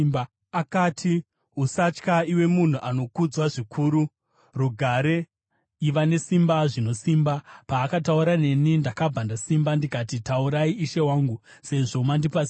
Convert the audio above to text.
Akati, “Usatya, iwe munhu anokudzwa zvikuru. Rugare! Iva nesimba zvino, simba.” Paakataura neni, ndakabva ndasimba ndikati, “Taurai Ishe wangu, sezvo mandipa simba.”